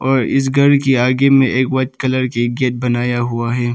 और इस घर के आगे में एक वाइट कलर की गेट बनाया हुआ है।